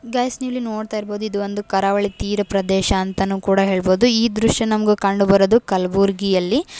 Guys ನೀವು ಇಲ್ಲಿ ನೋಡ್ತಇರಬಹುದು ಇದು ಒಂದು ಕರಾವಳಿ ತೀರಾ ಪ್ರದೇಶ ಅಂತನು ಕೂಡ ಹೇಳಬಹುದು ಈ ದೃಶ್ಯ ನಮಗೆ ಕಂಡು ಬರೋದು ಕಲಬುರ್ಗಿಯಲ್ಲಿ.